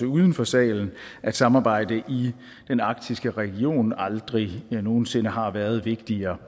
uden for salen at samarbejdet i den arktiske region aldrig nogen sinde har været vigtigere